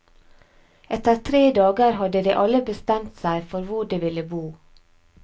Etter tre dager hadde de alle bestemt seg for hvor de ville bo.